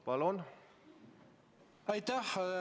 Palun!